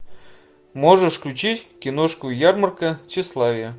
можешь включить киношку ярмарка тщеславия